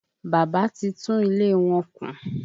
Bàbá ti tún ilé wọn kùn